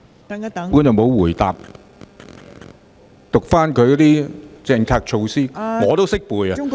局長沒有回答，只是讀出政策措施，我也懂得唸出來......